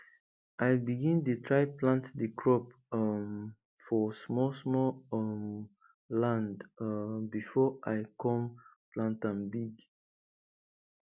i begin dey try plant di crop um for small small um land um before i come plant am big